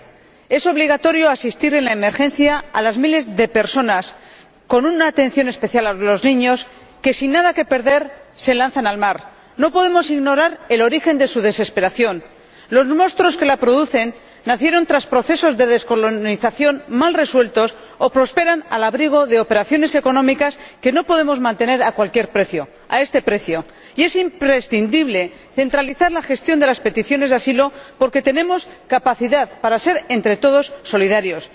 Señor Presidente Europa debe dar una respuesta común e integral a esta tragedia. Es obligatorio asistir en la emergencia a las miles de personas ―con una atención especial a los niños― que, sin nada que perder, se lanzan al mar. No podemos ignorar el origen de su desesperación. Los monstruos que la producen nacieron tras procesos de descolonización mal resueltos o prosperan al abrigo de operaciones económicas que no podemos mantener a cualquier precio, a este precio. Y es imprescindible centralizar la gestión de las peticiones de asilo porque tenemos capacidad para ser, entre todos, solidarios.